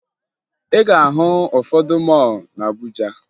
Ị ga-ahụ ụfọdụ mọọlụ na Abuja